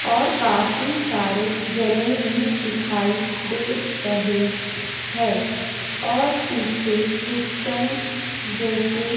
और काफी सारे जने भी दिखाई दे रहे हैं और पीछे क्रिस्चन जैसे--